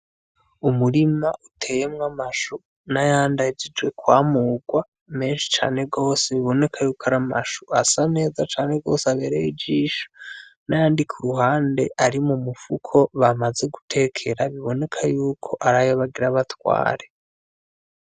Umurima uteyemwo amshu nayandi ahejeje kwamurwa menhi cane gose biboneka yuko aramashu asa neza cane gose aberye ijisho nayandi kuruhande arimumufuko bamaze gutekera biboneka yuko arayo bagira batware.